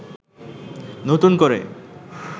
নতুন করে